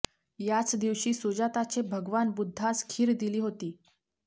याच दिवशी सुजाताचे भगवान बुद्धास खीर दिली होती